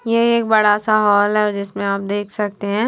ये एक बड़ा सा हॉल है जिसमें आप देख सकते हैं।